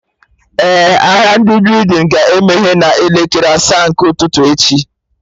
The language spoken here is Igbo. Eh, ahịa ndị building ga-emeye n'elekere asaa nke ụtụtụ echi